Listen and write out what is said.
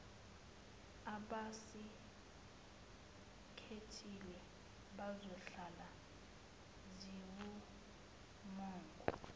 abasikhethile zizohlala ziwumongo